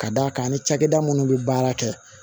Ka d'a kan ni cakɛda munnu bɛ baara kɛ